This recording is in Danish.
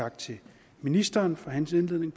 tak til ministeren for hans indledning